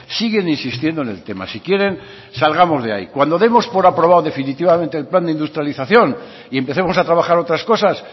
siguen insistiendo en el tema si quieren salgamos de ahí cuando demos por aprobado definitivamente el plan de industrialización y empecemos a trabajar otras cosas